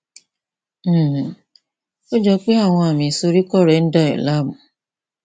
um ó jọ pé àwọn àmì ìsoríkọ rẹ ń dà ọ láàmú